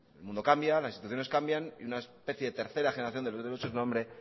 el mundo cambia las instituciones cambian una especie de tercera generación